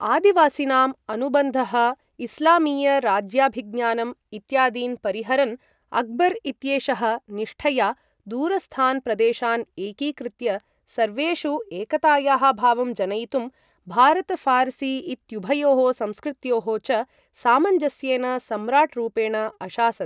आदिवासिनाम् अनुबन्धः, इस्लामीय राज्याभिज्ञानम् इत्यादीन् परिहरन्, अकबर् इत्येषः निष्ठया, दूरस्थान् प्रदेशान् एकीकृत्य, सर्वेषु एकतायाः भावं जनयितुं, भारत फ़ारसी इत्युभयोः संस्कृत्योः च सामञ्जस्येन सम्राट् रूपेण अशासत्।